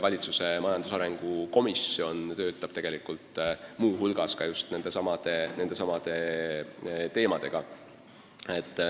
Valitsuse majandusarengu komisjon töötab muu hulgas ka nende teemade kallal.